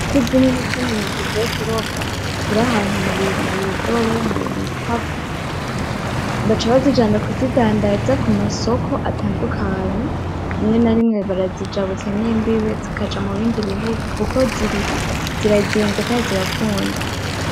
Ifi zinini zinini zivuye kurobwa ,ziri ahantu mubidobo, mubikapo, baca bazijana kuzidandaza kumasoko atandukanye, rimwe na rimwe barazijabutsa n'imbibe kuko zirazimvye kandi zirakunzwe.